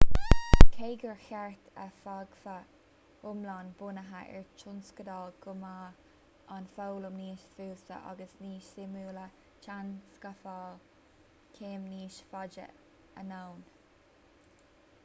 cé gur cheart go bhfágfadh foghlaim bunaithe ar thionscadal go mbeadh an fhoghlaim níos fusa agus níos suimiúla téann scafláil céim níos faide anonn